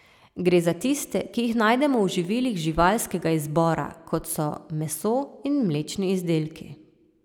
Gre za tiste, ki jih najdemo v živilih živalskega izbora, kot so meso in mlečni izdelki.